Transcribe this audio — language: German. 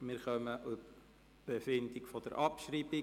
Wir befinden nun über die Abschreibung.